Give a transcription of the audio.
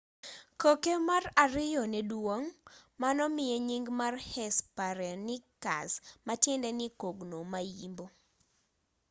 koke mar ariyo nedwong' manomiye nying mar hesperonychus matiende ni kogno ma-yimbo